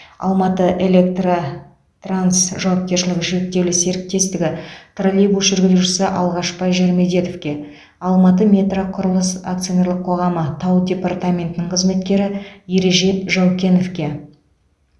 алматыэлектротранс жауапкершілігі шектеулі серіктестігі троллейбус жүргізушісі алғашбай жармедетовке алматыметроқұрылыс акционерлік қоғамы тау департаментінің қызметкері ережеп жаукеновке